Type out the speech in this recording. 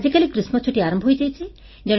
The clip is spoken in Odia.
ଆଜିକାଲି ଗ୍ରୀଷ୍ମଛୁଟି ଆରମ୍ଭ ହୋଇଯାଇଛି